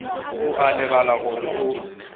o a lebala gore o